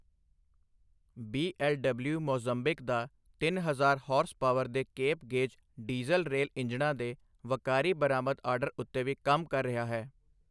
BLW Mozambique ਦਾ ਤਿੰਨ ਹਜ਼ਾਰ ਹਾਰਸ ਪਾਵਰ ਦੇ ਕੇਪ ਗੇਜ ਡੀਜ਼ਲ ਰੇਲ ਇੰਜਣਾਂ ਦੇ ਵੱਕਾਰੀ ਬਰਾਮਦ ਆਰਡਰ ਉੱਤੇ ਵੀ ਕੰਮ ਕਰ ਰਿਹਾ ਹੈ।